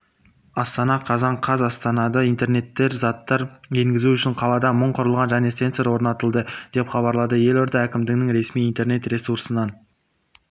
астана қазан қаз астанада интернет заттар енгізу үшін қалада мың құрылғы және сенсор орнатылды деп хабарлады елорда әкімдігінің ресми интернет-ресурсынан